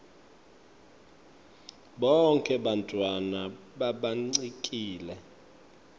bonkhe bantfwana labancikile